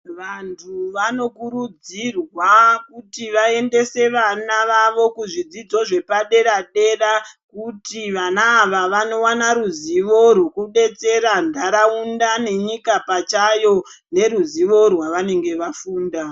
Vantu vanokurudzirwa kuti vaendese vana vavo kuzvidzidzo zvepadera dera kuti vana ava vanowana ruzivo rwekudetsera ndaraunda yenyika pachayo neruzivo rwaunenge wafunda.